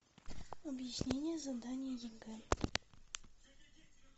объяснение задания егэ